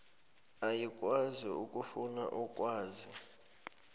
ayikwazi ukufuna ukwazi